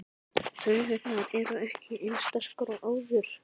Taugarnar eru ekki eins sterkar og áður.